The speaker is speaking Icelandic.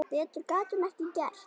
Betur gat hún ekki gert.